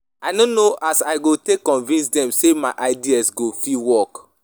I no know as I go take convince dem sey my idea fit work.